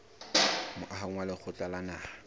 moahong wa lekgotla la naha